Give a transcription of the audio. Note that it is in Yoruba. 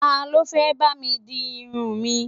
Talọ́ fẹ́ bá mi di irun mi?